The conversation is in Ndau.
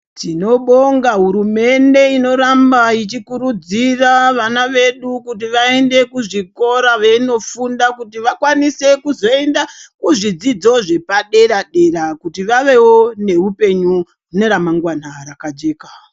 Tinobonga hurumende inoramba ichikurudzira vana vedu kuti vaende kuzvikora veindofunda, kuti vakwanise kuzoenda kuzvidzidzo zvepadera-dera, kuti vavewo neupenyu neramangwana rakajeka.